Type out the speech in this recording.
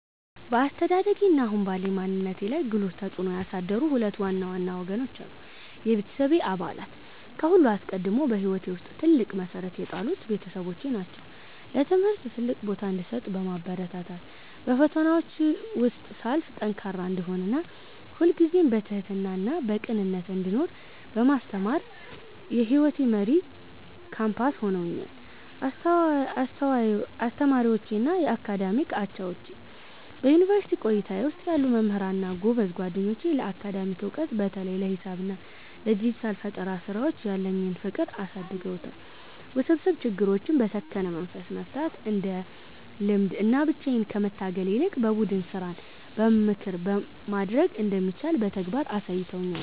በአስተዳደጌ እና አሁን ባለኝ ማንነት ላይ ጉልህ ተጽዕኖ ያሳደሩ ሁለት ዋና ዋና ወገኖች አሉ፦ የቤተሰቤ አባላት፦ ከሁሉ አስቀድሞ በሕይወቴ ውስጥ ትልቅ መሠረት የጣሉት ቤተሰቦቼ ናቸው። ለትምህርት ትልቅ ቦታ እንድሰጥ በማበረታታት፣ በፈተናዎች ውስጥ ሳልፍ ጠንካራ እንድሆን እና ሁልጊዜም በትሕትናና በቅንነት እንድኖር በማስተማር የሕይወቴ መሪ ኮምፓስ ሆነውኛል። አስተማሪዎቼ እና የአካዳሚክ አቻዎቼ፦ በዩኒቨርሲቲ ቆይታዬ ውስጥ ያሉ መምህራን እና ጎበዝ ጓደኞቼ ለአካዳሚክ ዕውቀት (በተለይም ለሂሳብ እና ለዲጂታል ፈጠራ ሥራዎች) ያለኝን ፍቅር አሳድገውታል። ውስብስብ ችግሮችን በሰከነ መንፈስ መፍታት እንድለምድ እና ብቻዬን ከመታገል ይልቅ በቡድን ሥራና በምክር ማደግ እንደሚቻል በተግባር አሳይተውኛል።